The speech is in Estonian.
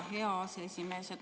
Hea aseesimees!